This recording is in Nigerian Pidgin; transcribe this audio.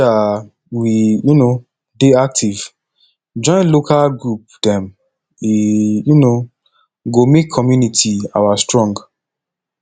make um we um dey active join local group dem e um go make community our strong